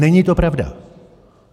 Není to pravda.